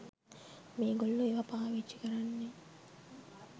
මේගොල්ලෝ ඒවා පාවිච්චි කරන්නේ